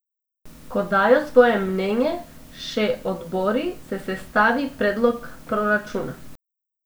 Ko dajo svoje mnenje še odbori, se sestavi predlog proračuna.